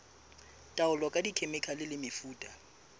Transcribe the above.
taolo ka dikhemikhale le mefuta